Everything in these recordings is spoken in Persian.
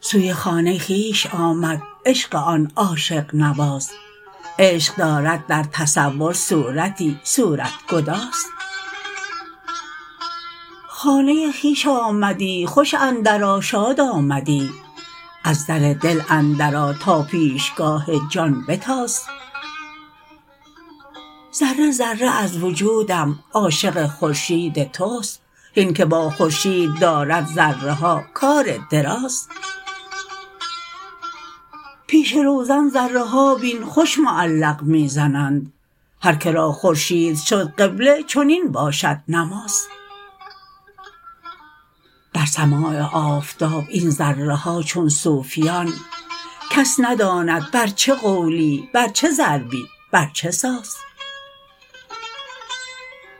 سوی خانه خویش آمد عشق آن عاشق نواز عشق دارد در تصور صورتی صورت گداز خانه خویش آمدی خوش اندرآ شاد آمدی از در دل اندرآ تا پیشگاه جان بتاز ذره ذره از وجودم عاشق خورشید توست هین که با خورشید دارد ذره ها کار دراز پیش روزن ذره ها بین خوش معلق می زنند هر که را خورشید شد قبله چنین باشد نماز در سماع آفتاب این ذره ها چون صوفیان کس نداند بر چه قولی بر چه ضربی بر چه ساز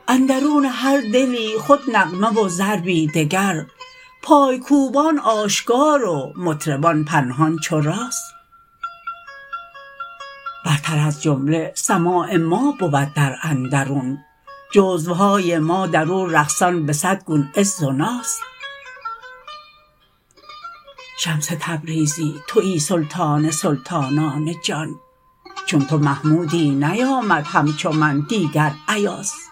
اندرون هر دلی خود نغمه و ضربی دگر پای کوبان آشکار و مطربان پنهان چو راز برتر از جمله سماع ما بود در اندرون جزوهای ما در او رقصان به صد گون عز و ناز شمس تبریزی توی سلطان سلطانان جان چون تو محمودی نیامد همچو من دیگر ایاز